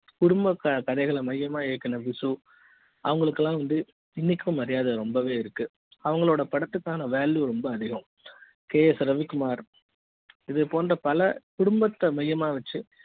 குடும்ப கதைகளை மையமாக இயக்குன விசு அவங்களுக்கு எல்லாம் வந்து இன்னைக்கும் மரியாதை ரொம்பவே இருக்கு அவங்க படத்துக்கான value ரொம்பவே அதிகம் ks ரவிக்குமார் இது போன்ற பல குடும்பத்தை மையமாக வைத்து